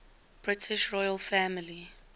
british royal family